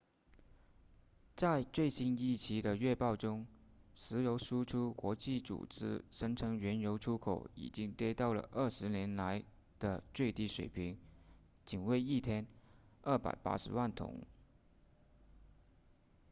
在最新一期的月报中石油输出国组织声称原油出口已经跌到了二十年来的最低水平仅为一天280万桶